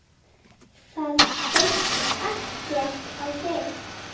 Það beit ekkert á þig.